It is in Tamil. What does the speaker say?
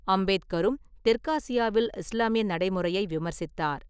அம்பேத்கரும் தெற்காசியாவில் இஸ்லாமிய நடைமுறையை விமர்சித்தார்.